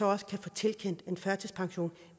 også kan få tilkendt en førtidspension